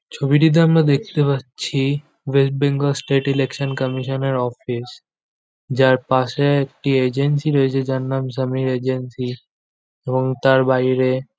ছবিটিতে আমরা দেখতে পাচ্ছি ওয়েস্ট বেঙ্গল স্টেট ইলেকশন কমিশনের অফিস যার পাশে একটি এজেন্সী রয়েছে। যার নাম সমীর এজেন্সি এবং তার বাইরে।